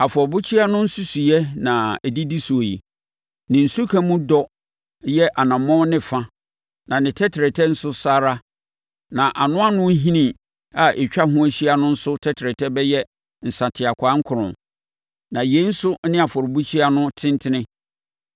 “Afɔrebukyia no nsusuiɛ na ɛdidi soɔ yi. Ne nsuka mu dɔ yɛ anammɔn ne fa na ne tɛtrɛtɛ nso saa ara, na anoano hini a ɛtwa ho hyia no nso tɛtrɛtɛ bɛyɛ nsateakwaa nkron. Na yei nso ne afɔrebukyia no tentene: